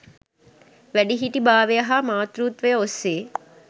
වැඩිහිටි භාවය හා මාතෘත්වය ඔස්සේ